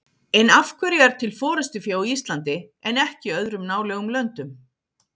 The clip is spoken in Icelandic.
En af hverju er til forystufé á Íslandi en ekki í öðrum nálægum löndum?